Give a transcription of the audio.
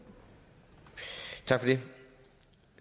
det